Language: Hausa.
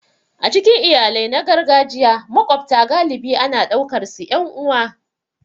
A cikin iyalai na gargajiya, maƙwabta galibi ana ɗaukarsu 'yan uwa.